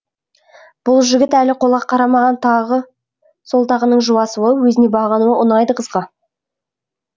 бұл жігіт әлі қолға қарамаған тағы сол тағының жуасуы өзіне бағынуы ұнайды қызға